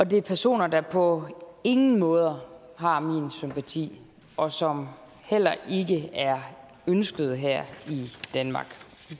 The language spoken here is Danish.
det er personer der på ingen måder har min sympati og som heller ikke er ønskede her i danmark